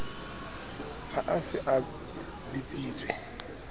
ha a se a bitsitswe